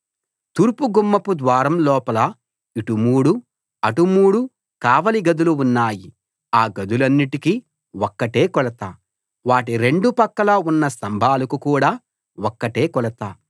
తూర్పు గుమ్మపు ద్వారం లోపల ఇటు మూడు అటు మూడు కావలి గదులు ఉన్నాయి ఆ గదులన్నిటికీ ఒక్కటే కొలత వాటి రెండు పక్కల ఉన్న స్తంభాలకు కూడా ఒక్కటే కొలత